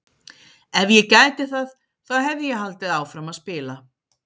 Ef ég gæti það þá hefði ég haldið áfram að spila!